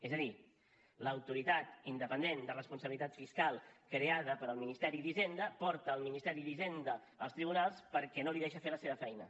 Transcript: és a dir l’autoritat independent de responsabilitat fiscal creada pel ministeri d’hisenda porta el ministeri d’hisenda als tribunals perquè no li deixa fer la seva feina